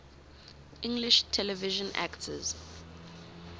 english television actors